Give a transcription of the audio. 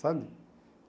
Sabe?